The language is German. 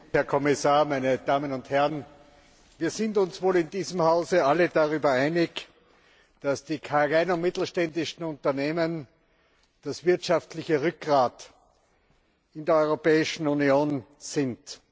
Herr Präsident, Herr Kommissar, meine Damen und Herren! Wir sind uns wohl in diesem Hause alle darüber einig, dass die kleinen und mittelständischen Unternehmen das wirtschaftliche Rückgrat in der Europäischen Union sind.